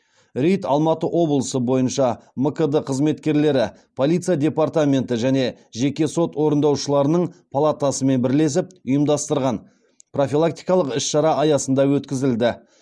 рейд алматы облысы бойынша мкд қызметкерлері полиция департаменті және жеке сот орындаушыларының палатасымен бірлесіп ұйымдастырған профилактикалық іс шара аясында өткізілді